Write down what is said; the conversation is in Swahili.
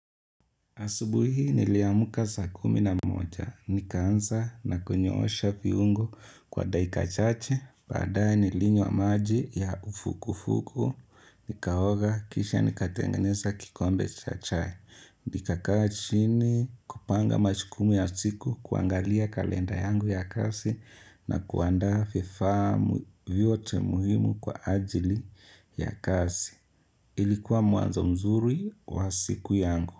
Asubuhi niliamka saa kumi na mmoja. Nikaanza na kunyoosha viungo kwa dakika chache. Badae nilinywa maji ya uvuguvugu. Nikaoga kisha nikatengeneza kikombe cha chai. Nikakaa chini kupanga majukumu ya siku, kuangalia kalenda yangu ya kazi na kuanda vifaa vyote muhimu kwa ajili ya kazi. Ilikuwa mwanzo mzuri wa siku yangu.